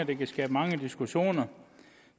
det kan skabe mange diskussioner